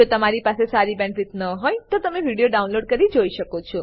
જો તમારી પાસે સારી બેન્ડવિડ્થ ન હોય તો તમે વિડીયો ડાઉનલોડ કરીને જોઈ શકો છો